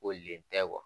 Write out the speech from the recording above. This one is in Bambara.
Kolen tɛ